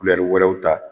wɛrɛw ta